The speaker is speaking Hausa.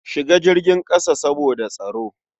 Shiga jirgin ƙasa saboda tsaro.